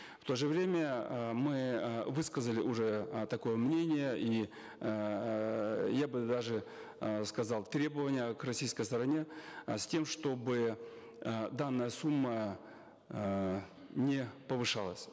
в то же время э мы э высказали уже э такое мнение и эээ я бы даже э сказал требование к российской стороне э с тем чтобы э данная сумма э не повышалась